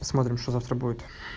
посмотрим что завтра будет